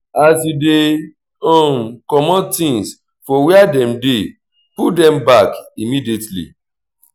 as you dey um comot things for where dem dey put dem back immediately